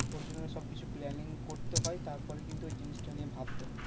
ওর জন্য সবকিছু planning করতে হয় তারপরে কিন্তু ওই জিনিসটা নিয়ে ভাবতে হয়।